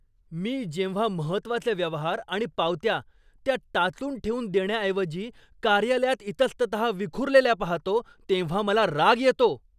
मी जेव्हा महत्त्वाचे व्यवहार आणि पावत्या, त्या टाचून ठेवून देण्याऐवजी कार्यालयात इतस्ततहा विखुरलेल्या पाहतो तेव्हा मला राग येतो.